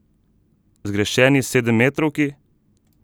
Zgrešeni sedemmetrovki?